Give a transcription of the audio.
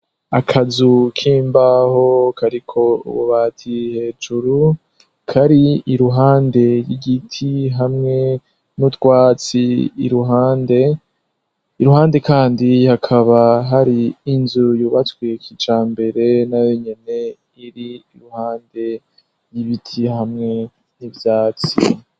Akazu k'imbaho kariko ububati hejuru kari iruhande y'igiti hamwe n'utwatsi iruhande kandi hakaba hari inzu yubatswe kijambere na yenyene iri ruhande y'ibiti hamwe n'ivyatsi.